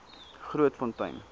grootfontein